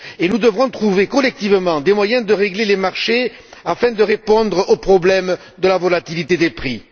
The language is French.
Nous devons trouver collectivement des moyens de réguler les marchés afin de répondre au problème de la volatilité des prix.